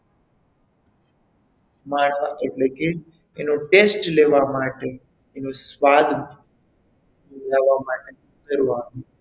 માળવા એટલે કે એનો test લેવા માટે એનો સ્વાદ લેવા માટે આવ્યા.